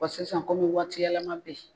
Bɔn sisan komi waati yɛlɛma be yen